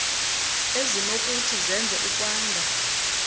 ezinokuthi zenze ukwanda